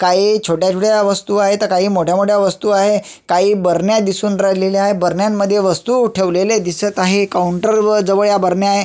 काही छोट्या छोट्या वस्तु आहेत तर काही मोठ्या मोठ्या वस्तु आहे काही भरण्या दिसून राहिलेल्याय भारण्यांमध्ये वस्तु ठेवलेल्या दिसत आहे काऊंटर वर जवळ ह्या भरण्या आहे.